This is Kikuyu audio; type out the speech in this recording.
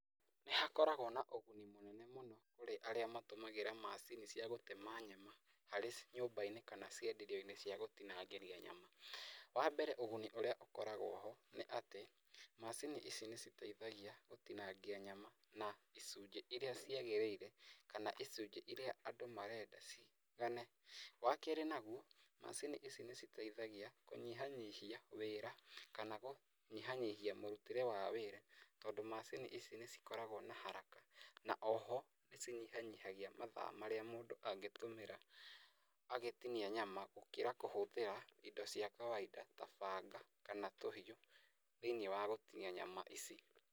Nĩ hakoragwo na ũguni mũnene mũno kũrĩ arĩa matũmagĩra macini cia gũtema nyama harĩ nyũmba-inĩ kana cienderio-inĩ cia gũtinangĩria nyama. Wa mbere ũguni ũrĩa ũkoragwo ho nĩ atĩ macini ici nĩ citeithagia gũtinangia nyama na icunjĩ iria ciagĩrĩire kana icunjĩ iria andũ marenda ciigane. Wa keerĩ naguo, macini ici nĩ citeithagia kũnyihanyihia wĩra kana kũnyihanyihia mũrutĩre wa wĩra tondũ macini ici nĩ cikoragwo na haraka. Na oho nĩ cinyihanyihagia mathaa marĩa mũndũ angĩtũmĩra agĩtinia nyama gũkĩra kũhũthĩra indo cia kawainda ta banga kana tũhiũ thĩiniĩ wa gũtinia nyama ici.